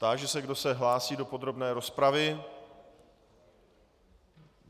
Táži se, kdo se hlásí do podrobné rozpravy.